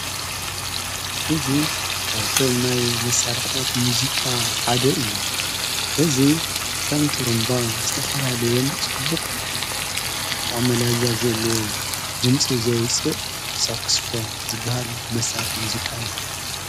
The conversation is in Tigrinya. እዙ ካብቶም ናይ መሣርሕታት ሙዚቃ ሓደ እዩ እዙ ኸም ጥሩምባ ዝተፈላለየን ጽቡቕ ጠዓመ ላዛ ዘለዎ ድምፂ ዘውፅእ ሳክስፎን ዝበሃል መሣርሕ ሙዚቃ እዩ::